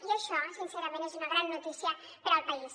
i això sincerament és una gran notícia per al país